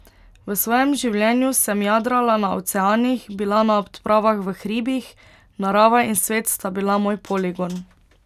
V svojem življenju sem jadrala na oceanih, bila na odpravah v hribih, narava in svet sta bila moj poligon.